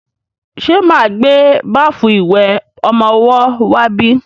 Ṣe máa gbé báfù ìwẹ̀ ọmọwọ́ wá bí?